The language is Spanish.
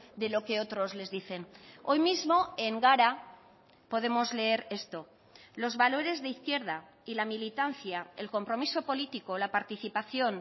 de lo que otros les dicen hoy mismo en gara podemos leer esto los valores de izquierda y la militancia el compromiso político la participación